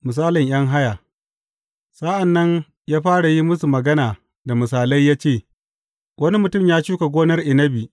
Misalin ’yan haya Sa’an nan ya fara yi musu magana da misalai ya ce, Wani mutum ya shuka gonar inabi.